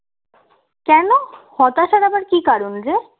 কেন হতাশার আবার কী কারণ রে